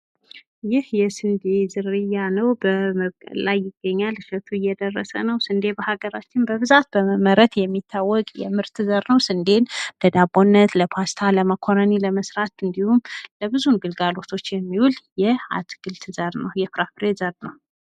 ይህ የስዴ ዝርያ ነው። በመብቀል ላይ ይገኛል። እሸቱ እየደለሰ ነው ስንዴ በሀገራችን በብዛት በመመረት የሚታወቅ የምርት ዘር ነው። ስንዴን ለዳቦነት ለፓስታ፣ ለመኮረኒ ለመስራት እንዲሁም ለብዙ ግልጋሎቶች የሚውል የጥራጥሬ ዘር ነው።